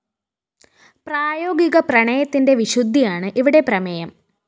പ്രായോഗിക പ്രണയത്തിന്റെ വിശുദ്ധിയാണ് ഇവിടെ പ്രമേയം